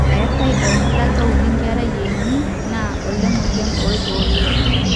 eetai olkordata audi nkera eini naa olemueyian orgoo ilo